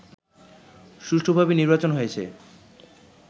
সুষ্ঠুভাবে নির্বাচন হয়েছে